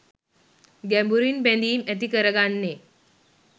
ගැඹුරින් බැඳීම් ඇති කරගන්නේ